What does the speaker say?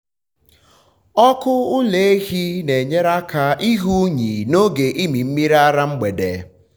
ọkụ ụlọ ehi na-enyere aka ịhụ unyi n’oge ịmị mmiri ara mgbede.